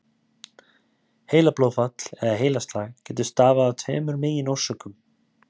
Heilablóðfall eða heilaslag getur stafað af tveimur meginorsökum.